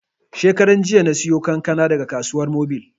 Shekaran jiya na sayo kankana daga Kasuwar Mobil